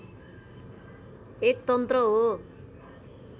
एक तन्त्र हो